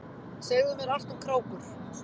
Segðu mér allt um krákur.